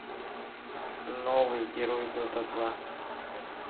новый герой дота два